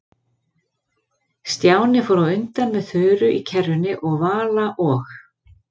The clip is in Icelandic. Stjáni fór á undan með Þuru í kerrunni og Vala og